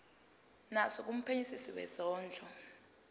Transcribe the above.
naso kumphenyisisi wezondlo